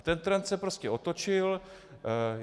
A ten trend se prostě otočil.